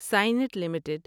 Cyient limited